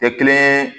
Kɛ kelen ye